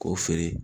K'o feere